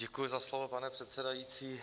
Děkuji za slovo, pane předsedající.